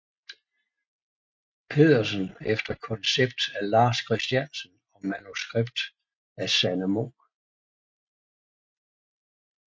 Pedersen efter koncept af Lars Christiansen og manuskript af Sanne Munk